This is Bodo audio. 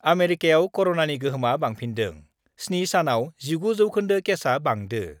आमेरिकायाव कर'नानि गोहोमआ बांफिन्दों, 7 सानआव 19 जौखोन्दो केसआ बांदों